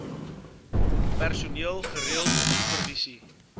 personeel gereeld supervisie